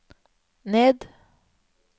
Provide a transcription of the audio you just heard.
ned